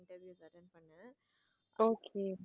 Okay